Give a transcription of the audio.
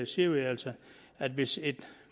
siger vi altså at hvis et